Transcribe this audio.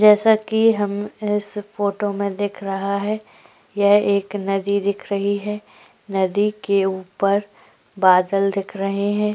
जैसा कि हम इस फोटो में दिख रहा है यह एक नदी दिख रही है नदी के ऊपर बादल दिख रहे हैं।